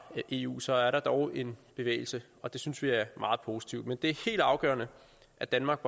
eu så er der dog en bevægelse og det synes vi er meget positivt men det er helt afgørende at danmark